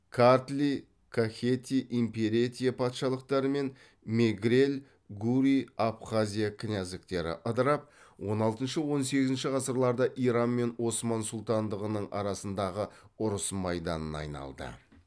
картли кахети имеретия патшалықтары мен мегрель гурий абхазия князьдіктері ыдырап он алтыншы он сегізінші ғасырларда иран мен осман сұлтандығының арасындағы ұрыс майданына айналды